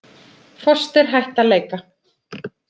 Foster hætt að leika